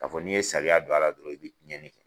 Ka fɔ n'i ye sariya don a la dɔrɔn i bɛ tiɲɛni kɛ.